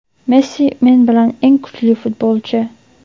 Messi men bilgan eng kuchli futbolchi!.